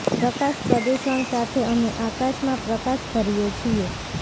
પ્રકાશ પ્રદૂષણ સાથે અમે આકાશમાં પ્રકાશ ભરીએ છીએ